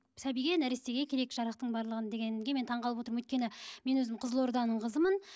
сәбиге нәрестеге керек жарақтың барлығын дегенге мен таңғалып отырмын өйткені мен өзім қызылорданың қызымын